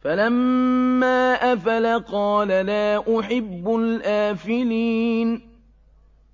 فَلَمَّا أَفَلَ قَالَ لَا أُحِبُّ الْآفِلِينَ